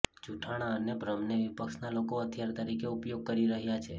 જુઠ્ઠાણા અને ભ્રમને વિપક્ષના લોકો હથિયાર તરીકે ઉપયોગ કરી રહ્યા છે